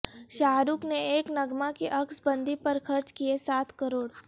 شاہ رخ نے ایک نغمہ کی عکس بندی پر خرچ کئے سات کروڑ